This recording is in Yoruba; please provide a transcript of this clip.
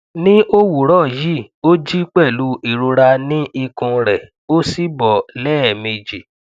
ní òwúrọ yìí ó jí pẹlú ìrora ni ikùn rẹ ó sì bọ lẹẹmeji